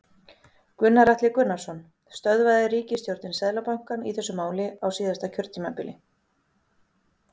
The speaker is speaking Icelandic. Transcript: Gunnar Atli Gunnarsson: Stöðvaði ríkisstjórnin Seðlabankann í þessu máli á síðasta kjörtímabili?